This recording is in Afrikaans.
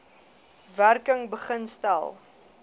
werking begin stel